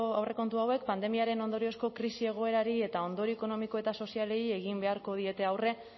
aurrekontu hauek pandemiaren ondoriozko krisi egoerari eta ondorio ekonomiko eta sozialei egin beharko diete aurre